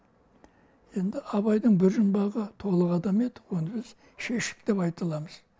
енді абайдың бір жұмбағы толық адам еді оны біз шештік деп айта аламыз